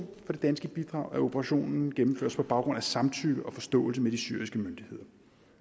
for det danske bidrag at operationen gennemføres på baggrund af samtykke og forståelse med de syriske myndigheder